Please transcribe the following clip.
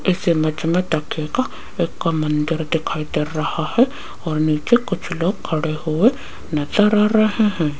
इस इमेज में देखिएगा एक मन्दिर दिखाई दे रहा है और नीचे कुछ लोग खड़े हुए नजर आ रहे हैं।